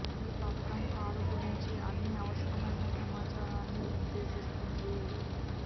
ఈ పత్రం కారు గురించి అన్ని అవసరమైన సమాచారాన్ని నిర్దేశిస్తుంది